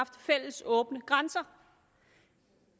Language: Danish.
fælles åbne grænser